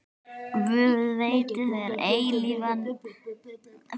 Guð veiti þér eilífan frið.